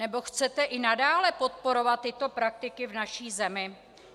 Nebo chcete i nadále podporovat tyto praktiky v naší zemi?